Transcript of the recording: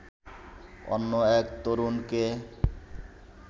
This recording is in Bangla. অন্য এক তরুণকে